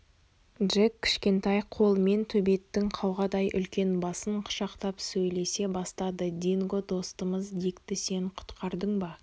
джек кішкентай қолымен төбеттің қауғадай үлкен басын құшақтап сөйлесе бастады динго достымыз дикті сен құтқардың ба